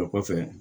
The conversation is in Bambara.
A kɔfɛ